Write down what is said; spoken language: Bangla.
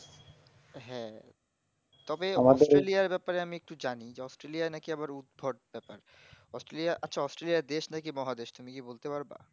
হ্যাঁ তবে পুরুলিয়ার ব্যাপারে আমি একটু জানি australia র ব্যাপারে আমি একটু জানি যে অস্ট্রলিয়া নাকি আবার উদ্ভট ব্যাপার অস্ট্রলিয়া আচ্ছা অস্ট্রলিয়া দেশ নাকি মহাদেশ নাকি তুমি বলতে পারবা